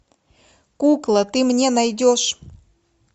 кукла ты мне найдешь